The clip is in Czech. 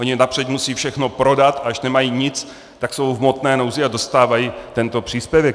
Oni napřed musí všechno prodat, a až nemají nic, tak jsou v hmotné nouzi a dostávají tento příspěvek.